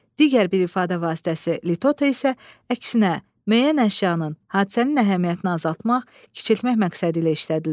Digər bir ifadə vasitəsi litota isə əksinə müəyyən əşyanın, hadisənin əhəmiyyətini azaltmaq, kiçiltmək məqsədilə işlədilir.